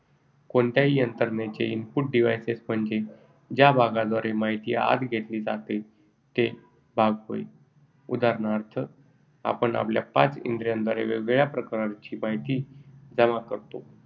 कोणत्याही यंत्रणेचे input devices म्हणजे ज्या भागाद्वारे माहिती आत घेतली जाते तो भाग होय. उदा. आपण आपल्या पाच इंद्रियाद्वारे वेगवेगळ्या प्रकारची माहिती जमा करतो.